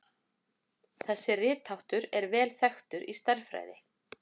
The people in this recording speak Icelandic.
Þessi ritháttur er vel þekktur í stærðfræði.